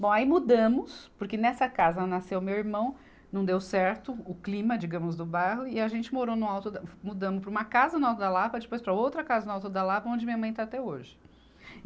Bom, aí mudamos, porque nessa casa nasceu meu irmão, não deu certo o clima, digamos, do bairro, e a gente morou no alto da, mudamos para uma casa no Alto da Lapa, depois para outra casa no Alto da Lapa, onde minha mãe está até hoje.